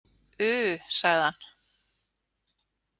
Uuu, sagði hann.